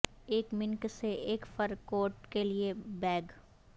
ایک منک سے ایک فر کوٹ کے لئے بیگ